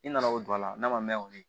I nana o don a la n'a ma mɛn o ye